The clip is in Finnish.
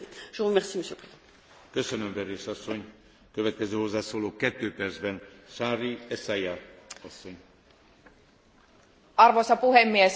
Arvoisa puhemies, finanssikriisin jälkiaalloissa julkiset taloudet ovat velkaantuneet yhä kovaa vauhtia, vaikka elvytyshanoja ollaankin useissa maissa kääntämässä pienemmälle.